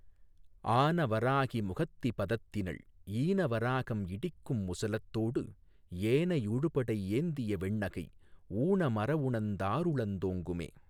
ஆன வராக முகத்தி பதத்தினள் ஈன வராகம் இடிக்கும் முசலத்தோ டு ஏனை யுழுபடை ஏந்திய வெண்ணகை ஊன மறவுணர்ந் தாருளத் தோங்குமே.